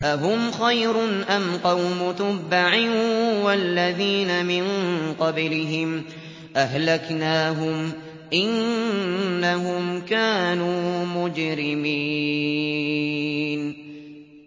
أَهُمْ خَيْرٌ أَمْ قَوْمُ تُبَّعٍ وَالَّذِينَ مِن قَبْلِهِمْ ۚ أَهْلَكْنَاهُمْ ۖ إِنَّهُمْ كَانُوا مُجْرِمِينَ